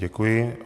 Děkuji.